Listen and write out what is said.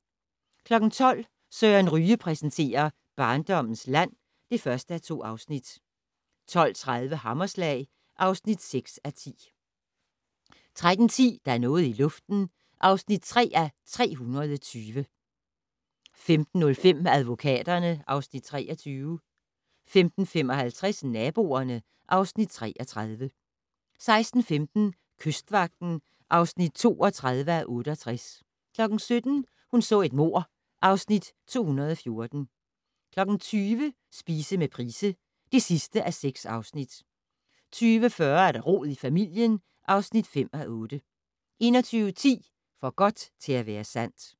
12:00: Søren Ryge præsenterer: Barndommens land (1:2) 12:30: Hammerslag (6:10) 13:10: Der er noget i luften (3:320) 15:05: Advokaterne (Afs. 23) 15:55: Naboerne (Afs. 33) 16:15: Kystvagten (32:68) 17:00: Hun så et mord (Afs. 214) 20:00: Spise med Price (6:6) 20:40: Rod i familien (5:8) 21:10: For godt til at være sandt